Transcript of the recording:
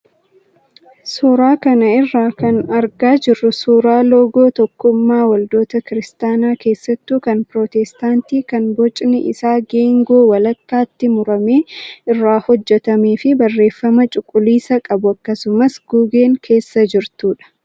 Suuraa kana irraa kan argaa jirru suuraa loogoo tokkummaa waldoota kiristaanaa keessattuu ka pirootestaantii kan bocni isaa geengoo walakkaatti murame irraa hojjatamee fi barreeffama cuquliisa qabu akkasumas gugeen keessa jirtudha.